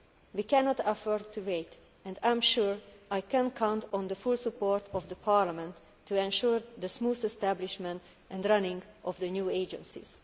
We cannot afford to wait, and I am sure I can count on the full support of Parliament to ensure the smooth establishment and running of the new agencies.